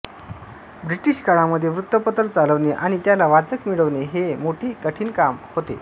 British काळामध्ये वृत्तपत्र चालवणे आणि त्याला वाचक मिळवणे हे मोठे कठीण काम होते